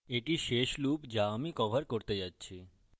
এটি শেষ loop যা আমি cover করতে যাচ্ছি